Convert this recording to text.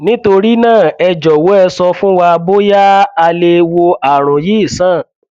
nítorí náà ẹ jọwọ ẹ sọ fún wa bóyá a lè wo ààrùn yìí sàn